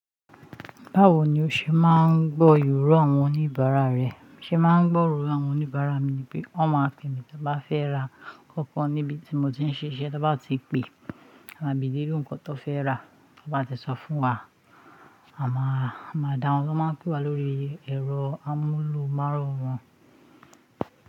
Báwo ni o ṣe máa ń gbọ́ ìrọ̀ àwọn oníbàárà rẹ? Ṣe máa ń gbọ ìrọ̀ àwọn oníbàárà mi ni pé wọ́n máa pè mi tí wọ́n bá fẹ́ ra kankan níbi tí mo ti ń ṣiṣẹ́. Tí wọ́n bá ti pe, a máa bèrè irú nǹkan tó fẹ́ rà. Tó bá ti sọ fún wa, a máa, a máa dáhùn. Wọ́n máa ń pè wa lórí ẹ̀rọ amúlùmálọ́run.